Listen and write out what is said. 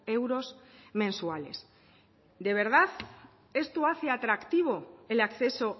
euros mensuales de verdad esto hace atractivo el acceso